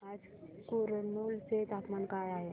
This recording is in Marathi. आज कुरनूल चे तापमान काय आहे